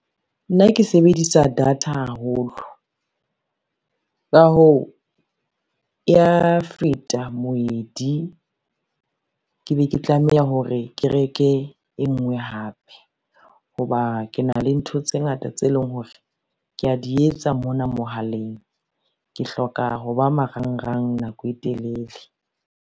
Nna ke sebedisa data haholo, ka hoo e ya feta moedi, ke be ke tlameha hore ke reke e ngwe hape, ho ba ke na le ntho tse ngata tse leng hore ke ya di etsa mona mohaleng, ke hloka ho ba marangrang nako e telele.